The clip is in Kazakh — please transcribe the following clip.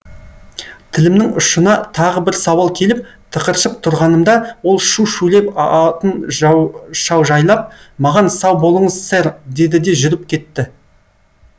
тілімнің ұшына тағы бір сауал келіп тықыршып тұрғанымда ол шу шулеп атын шаужайлап маған сау болыңыз сэр деді де жүріп кетті